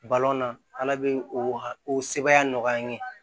na ala bɛ o ha o sebaya nɔgɔya an ye